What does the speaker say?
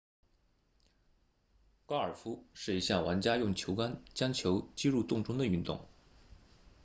高尔夫是一项玩家用球杆将球击入洞中的运动